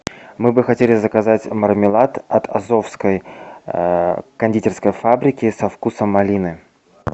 мы бы хотели заказать мармелад от азовской кондитерской фабрики со вкусом малины